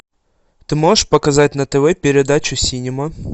ты можешь показать на тв передачу синема